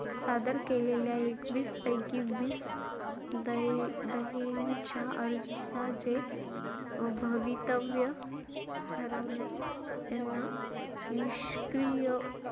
सादर केलेल्या एकवीस पैकी वीस दये~ दयेच्या अर्जाचे भवितव्य ठरवण्यात त्यांना निष्क्रिय,